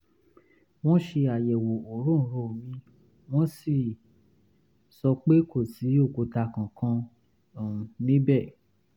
wọ́n ṣe àyẹ̀wò òróǹro mi wọ́n sì sọ pé kò sí òkúta kankan um níbẹ̀